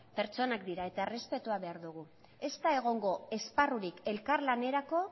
pertsonak dira eta errespetua behar dugu ez da egongo esparrurik elkarlanerako